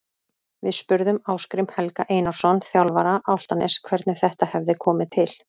Við spurðum Ásgrím Helga Einarsson, þjálfara Álftaness, hvernig þetta hefði komið til.